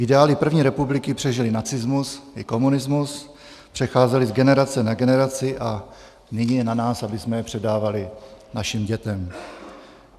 Ideály první republiky přežily nacismus i komunismus, přecházely z generace na generaci a nyní je na nás, abychom je předávali našim dětem.